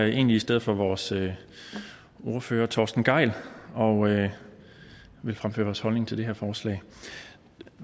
egentlig i stedet for vores ordfører torsten gejl og vil fremføre vores holdning til det her forslag